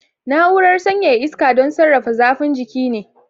Na'urar sanyaya iska don sarrafa zafin jiki ne.